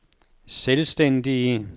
selvstændige